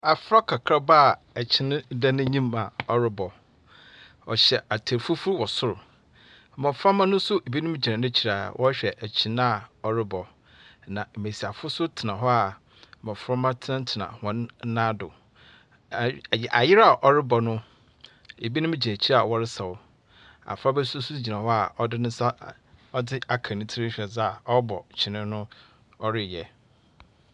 Abfra kakraba a ɛkyene da n’enyim a ɔrebɔ. Ↄhyɛ ataar fufu wɔ sor. Mmɔframma no nso binom gyina n’ekyir a wɔrehwɛ ɛkyene a ɔrebɔ. Na mmesiyafo nso tena hɔ a mmɔframma tenatena hɔn nan do. Aayi ayɛ ayerɛ a ɔrebɔ no ebinom gyina ekyir a wɔresaw. Abfraba nso so gyina hɔ a ɔde ne nsa ɔde aka ne tir hwɛ dzeɛ a ɔrebɔ kyene no ɔreyɛ.